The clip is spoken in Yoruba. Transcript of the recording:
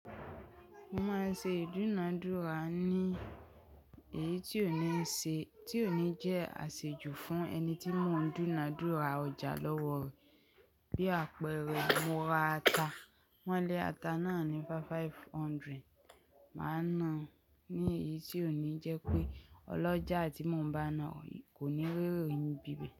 Mo máa ń ṣe ìdúnadúrà ní èyí tí òní ṣe, tí òní jẹ́ àṣejù fún ẹni tí mò ń dúnadúrà ọjà lọ́wọ́ rẹ̀. Bí àpẹẹrẹ, mo ra ata, wọ́n lé ata náà ní five five hundred. Mà á na ní èyí tí òní jẹ́ pé ọlọ́jà tí mò ń bá náà kò ní ri erẹ́ ni bíbẹ̀